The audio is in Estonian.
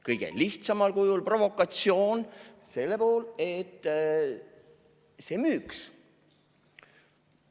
Kõige lihtsamal kujul provokatsioon selleks, et see müüks.